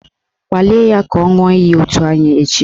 Kpalie ya ka ọ ṅụọ iyi otu anyị echi!